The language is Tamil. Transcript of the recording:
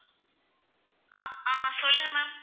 ஆஹ் ஆஹ் சொல்லுங்க ma'am